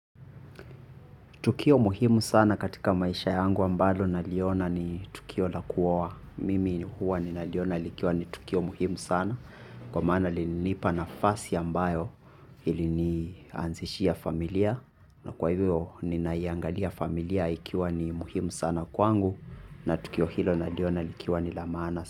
Tukio muhimu sana katika maisha yangu ambalo naliona ni tukio la kuoa. Mimi ni huwa ninaliona likiwa ni tukio muhimu sana. Kwa mana linanipa nafasi ambayo ili nianzishia familia. Na kwa hivyo ninaiangalia familia ikiwa ni muhimu sana kwangu. Na tukio hilo naliona likiwa ni la maana.